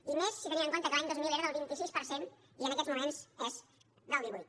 i més si tenim en compte que l’any dos mil era del vint sis per cent i en aquests moments és del divuit